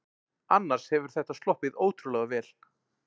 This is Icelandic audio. Annars hefur þetta sloppið ótrúlega vel